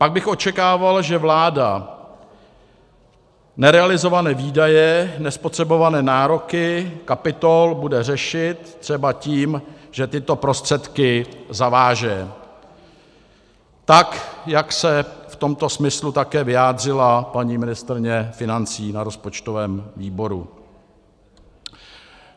Pak bych očekával, že vláda nerealizované výdaje, nespotřebované nároky kapitol bude řešit třeba tím, že tyto prostředky zaváže, tak jak se v tomto smyslu také vyjádřila paní ministryně financí na rozpočtovém výboru.